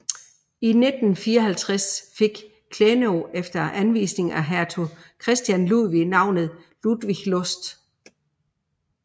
I 1754 fik Klenow efter anvisning af hertug Christian Ludwig navnet Ludwigslust